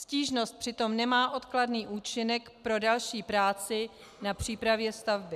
Stížnost přitom nemá odkladný účinek pro další práci na přípravě stavby.